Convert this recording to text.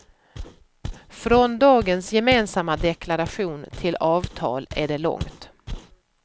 Från dagens gemensamma deklaration till avtal är det långt.